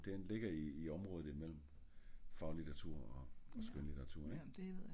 Den ligger i området i mellem faglitteratur og skønlitteratur